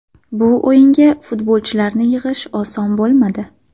Bu o‘yinga futbolchilarni yig‘ish oson bo‘lmadi.